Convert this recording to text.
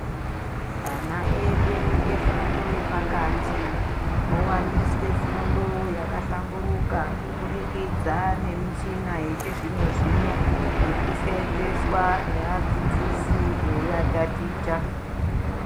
Ana edu efundo yepakati, owaniswe fundo yakahlamburuka kubudikidza nemishina yechizvino-zvino, iri kuseenzeswa nevadzidzisi eivataticha.